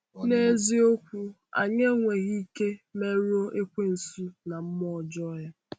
N’eziokwu, anyị enweghị ike merụọ Ekwensu na mmụọ ọjọọ ya.